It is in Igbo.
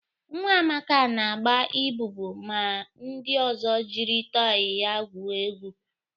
Nwa Amaka na agba ịbubu ma ndị ozo jiri tọị ya gwuo egwu